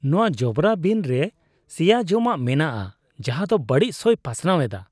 ᱱᱚᱶᱟ ᱡᱚᱵᱨᱟ ᱵᱤᱱ ᱨᱮ ᱥᱮᱭᱟ ᱡᱚᱢᱟᱜ ᱢᱮᱱᱟᱜᱼᱟ ᱡᱟᱦᱟᱸ ᱫᱚ ᱵᱟᱹᱲᱤᱡ ᱥᱚᱭ ᱯᱟᱥᱱᱟᱣ ᱮᱫᱟ ᱾